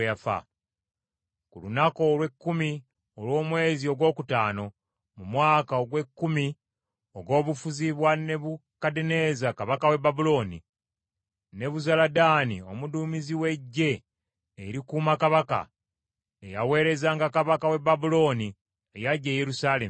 Ku lunaku olw’ekkumi olw’omwezi ogwokutaano, mu mwaka ogw’ekkumi ogw’obufuzi bwa Nebukadduneeza kabaka w’e Babulooni, Nebuzaladaani omuduumizi w’eggye erikuuma kabaka, eyaweerezanga kabaka w’e Babulooni, yajja e Yerusaalemi.